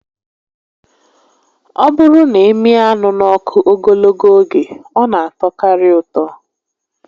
Ọ bụrụ na ị mịa anụ n'ọkụ ogologo oge, ọ na atọkarị ụtọ